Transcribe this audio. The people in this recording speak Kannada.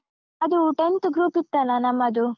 ಅದು tenth group ಇತ್ತಲ್ಲ, ನಮ್ಮದು.